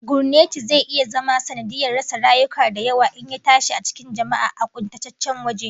Gurneti zai iya zama sanadiyyar rasa rayuka da yawa in ya tashi a cikin jama'a a kuntataccen waje